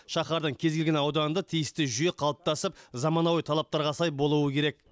шаһардың кез келген ауданында тиісті жүйе қалыптасып заманауи талаптарға сай болуы керек